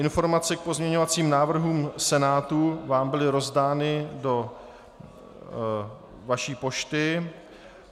Informace k pozměňovacím návrhům Senátu vám byly rozdány do vaší pošty.